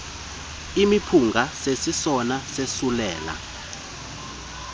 imiphunga sisesona sosulela